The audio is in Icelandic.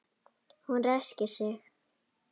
Hún ræskir sig.